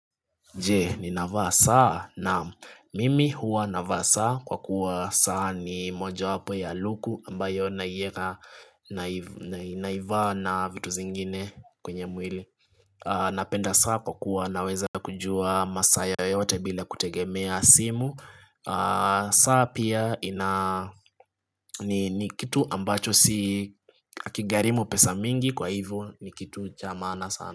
Je ni navaa saa naam mimi huwa navaa saa kwa kuwa saa ni moja wapo ya luku ambayo naivaa na vitu zingine kwenye mwili Napenda saa kwa kuwa naweza kujua masaa yoyote bila kutegemea simu saa pia ni kitu ambacho si akigharimu pesa mingi kwa hivyo ni kitu cha maana sana.